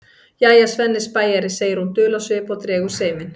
Jæja, Svenni spæjari, segir hún dul á svip og dregur seiminn.